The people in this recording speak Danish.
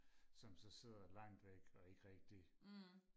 som så sidder langt væk og ikke rigtig